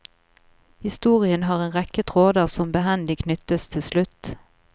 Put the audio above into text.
Historien har en rekke tråder som behendig knyttes til slutt.